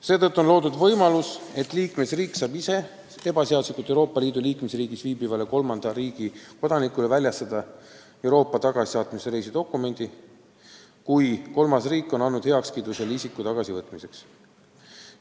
Seetõttu on loodud võimalus, et liikmesriik saab ise ebaseaduslikult Euroopa Liidu riigis viibivale kolmanda riigi kodanikule väljastada Euroopa tagasisaatmise reisidokumendi, kui kolmas riik on andnud selle isiku tagasivõtmiseks heakskiidu.